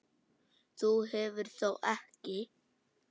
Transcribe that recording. Þú hefur þó ekki.